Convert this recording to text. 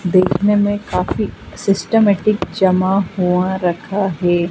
देखने में काफी सिस्टमैटिक जमा हुआ रखा है।